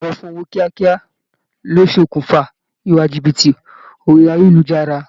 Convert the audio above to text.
Ìpòǹgbẹ fun ọwọ́ kíákíá ló ṣe okùnfà ìwà jìbìtì orí ayélujára